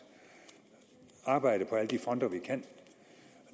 arbejde på alle de fronter vi kan